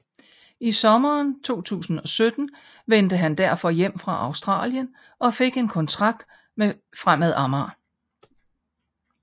I sommeren 2017 vendte han derfor hjem fra Australien og fik en kontrakt med Fremad Amager